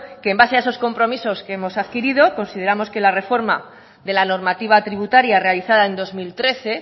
que en base a esos compromisos que hemos adquirido consideramos que la reforma de la normativa tributaria realizada en dos mil trece